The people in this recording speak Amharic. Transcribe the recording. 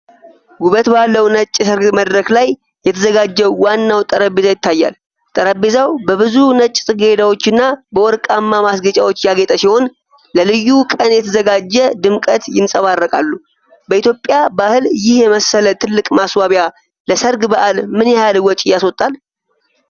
ውበት ባለው ነጭ የሰርግ መድረክ ላይ የተዘጋጀው ዋናው ጠረጴዛ ይታያል። ጠረጴዛው በብዙ ነጭ ጽጌረዳዎችና በወርቃማ ማስጌጫዎች ያጌጠ ሲሆን፣ ለልዩ ቀን የተዘጋጀ ድምቀት ይንጸባረቃል። በኢትዮጵያ ባህል ይህ የመሰለ ትልቅ ማስዋቢያ ለሠርግ በዓል ምን ያህል ወጪ ያስወጣል?